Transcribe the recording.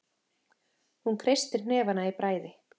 Hún kreistir hnefana í bræði.